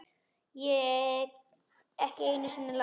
Ekki einu sinni Lat.